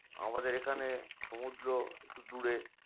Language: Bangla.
আমাদের এখানে সমুদ্র একটু দূরে